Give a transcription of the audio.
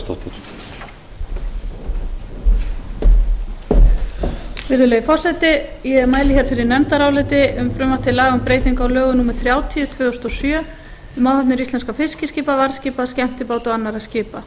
virðulegur forseti ég mæli hér fyrir nefndaráliti um frumvarp til laga um breytingu á lögum númer þrjátíu tvö þúsund og sjö um áhafnir íslenskra fiskiskipa varðskipa skemmtibáta og annarra skipa